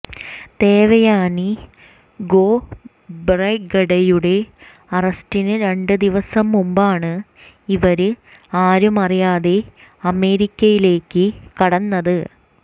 ദേവയാനി ഖോബ്രഗഡെയുടെ അറസ്റ്റിന് രണ്ട് ദിവസം മുമ്പാണ് ഇവര് ആരും അറിയാതെ അമേരിക്കയിലേക്ക് കടന്നത്